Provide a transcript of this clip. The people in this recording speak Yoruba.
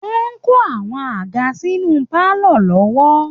Wọ́n ń kó àwọn àga sínú pálọ̀ lọ́wọ́